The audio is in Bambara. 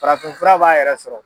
Farafinfura b'a yɛrɛ sɔrɔ.